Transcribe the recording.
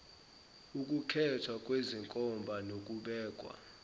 ukukhethwa kwezenkomba nokubekwa